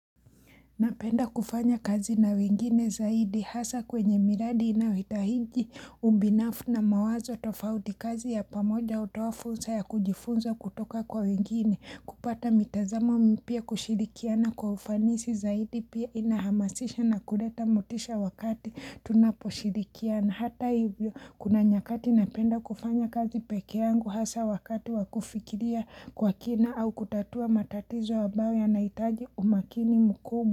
Napenda kufanya kazi na wengine zaidi hasa kwenye miradi inayohitaji ubinafu na mawazo tofauti. Kazi ya pamoja hutowa fursa ya kujifunza kutoka kwa wengine kupata mitazamo mpya kushirikiana kwa ufanisi zaidi pia inahamasisha na kuleta mutisha wakati tunaposhirikiana hata hivyo kuna nyakati napenda kufanya kazi peke yangu hasa wakati wakufikiria kwa kina au kutatua matatizo ambayo yanaitaji umakini mkubwa.